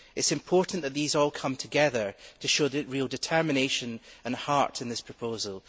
It is important that these all come together to show real determination and heart in this proposal.